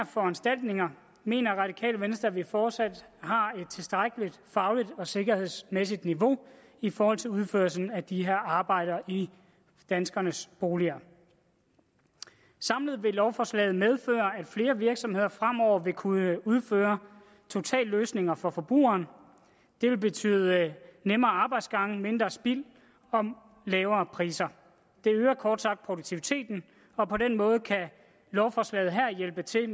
foranstaltninger mener radikale venstre at vi fortsat har et tilstrækkelig fagligt og sikkerhedsmæssigt niveau i forhold til udførelsen af de her arbejder i danskernes boliger samlet vil lovforslaget medføre at flere virksomheder fremover vil kunne udføre totalløsninger for forbrugeren det vil betyde nemmere arbejdsgange mindre spild og lavere priser det øger kort sagt produktiviteten og på den måde kan lovforslaget her hjælpe til